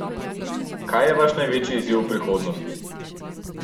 Kaj je vaš največji izziv v prihodnosti?